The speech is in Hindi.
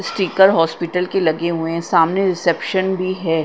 स्टिकर हॉस्पिटल के लगे हुए है सामने रिसेप्शन भी है।